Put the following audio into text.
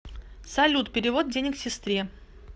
салют перевод денег сестре